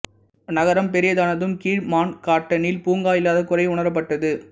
நகரம் பெரியதானதும் கீழ் மன்காட்டனில் பூங்கா இல்லாத குறை உணரப்பட்டது